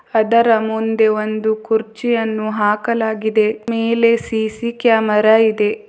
ಅದರ ಮುಂದೆ ಒಂದು ಕುರ್ಚಿಯನ್ನು ಹಾಕಲಾಗಿದೆ ಮೇಲೆ ಸಿ_ಸಿ ಕ್ಯಾಮರಾ ಇದೆ.